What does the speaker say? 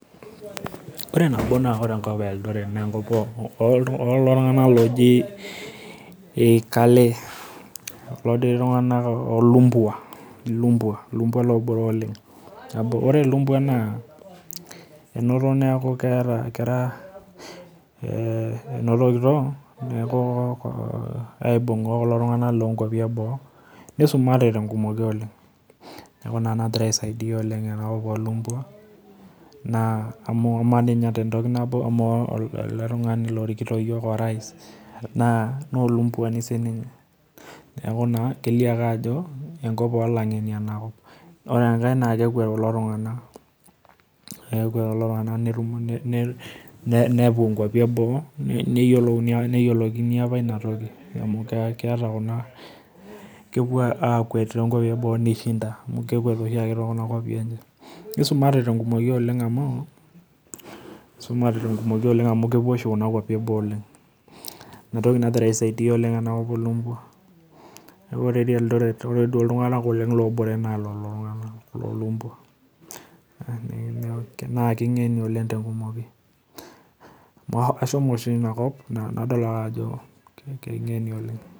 Ore nabo naa ore enkoo e eldoret naa enkop oo kalee enakop oo lumbua ore ilumbua naa enotokito aaibunga kulo tung'ana loo nkuapi eboo nisumate oleng neeku ina nagira aisaidia oleng enakop oo lumbua. Aa amu amaa dii ninye te ntoki nabo amaa eletungani orikito iyiook aa orais naa olumbwani neeku naa kelio ake ajo enkop oo langeni enakop. Ore enkae naa kekwet kulo tung'ana kekwet oleng nepuo nkuapi eboo, neyiolouni apa aa kepuo aakwet nishinda, kekwet oshi ake te kuna kwapi. Nisumate te nkumoki amu, isumate te nkumoki amuu kepuo oshi nkuapi eboo oleng. Neeku ina toki nagira aisaidia oleng enakop oo lumbua neeku ore dii naa king'eni oleng te nkumoki ,ashomo oshi ina kop nadol ajo king'eni oleng.